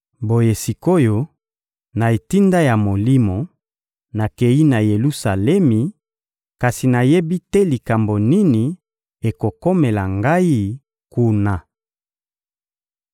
Boye sik’oyo, na etinda ya Molimo, nakeyi na Yelusalemi, kasi nayebi te likambo nini ekokomela ngai kuna.